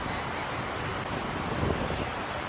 Baqaj qapısı Baqaj Baqaj.